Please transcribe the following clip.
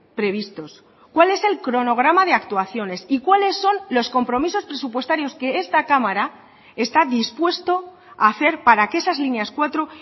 previstos cuál es el cronograma de actuaciones y cuáles son los compromisos presupuestarios que esta cámara está dispuesto a hacer para que esas líneas cuatro